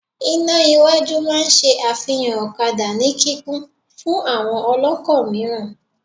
Iná iwájú máa n ṣe àfihàn ọ̀kadà ní kíkún fún àwọn ọlọ́kọ̀ mìíràn